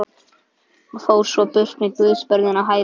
Og fór svo burt með guðsbörnin á hælunum.